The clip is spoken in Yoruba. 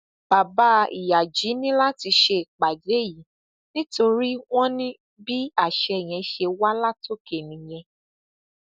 bàbá ìyájí ní láti ṣèpàdé yìí nítorí wọn ní bí àṣẹ yẹn ṣe wá látòkè nìyẹn